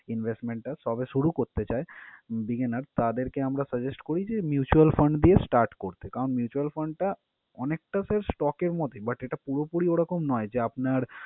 Investment টা সবে শুরু করতে চায় beginner তাদেরকে আমরা suggest করি যে, mutual fund দিয়ে start করতে। কারণ mutual fund টা অনেকটা sir stock এর মতই but এটা পুরোপুরি ওরকম নয় যে আপনার